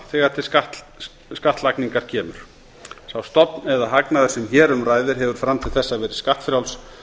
þegar til skattlagningar kemur sá stofn eða hagnaður sem hér um ræðir hefur fram til þess verið skattfrjáls